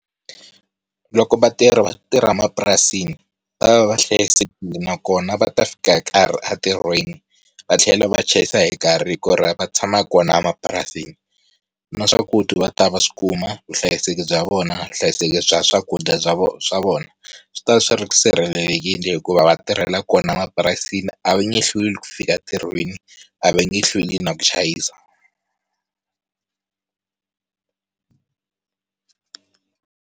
Loko vatirhi va tirha mapurasini va va hlayisekile nakona va ta fika hi nkarhi a tirhweni va tlhela va chayisa hi nkarhi, hi ku ri va tshama kona emapurasini na swakudya va ta va swikuma vuhlayiseki bya vona vuhlayiseki bya swakudya bya vona swa vona swi ta swi sirhelelekile hikuva va tirhela kona mapurasini a va nge hlweli ku fika tirhweni a va nge hlweli na ku chayisa.